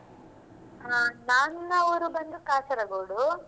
ಹಾ ನನ್ನ ಊರು ಬಂದು ಕಾಸರಗೋಡು.